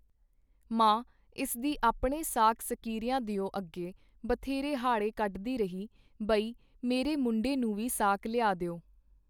ਮਾਂ ਇਸ ਦੀ ਆਪਣੇ ਸਾਕ ਸਕੀਰੀਆਂ ਦਿਓ ਅੱਗੇ ਬਥੇਰੇ ਹਾੜੇ ਕੱਢਦੀ ਰਹੀ ਬਈ ਮੇਰੇ ਮੁੰਡੇ ਨੂੰ ਵੀ ਸਾਕ ਲਿਆ ਦਿਓ.